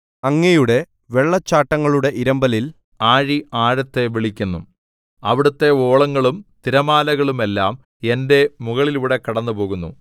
അങ്ങയുടെ വെള്ളച്ചാട്ടങ്ങളുടെ ഇരമ്പലിൽ ആഴി ആഴത്തെ വിളിക്കുന്നു അവിടുത്തെ ഓളങ്ങളും തിരമാലകളുമെല്ലാം എന്റെ മുകളിലൂടെ കടന്നുപോകുന്നു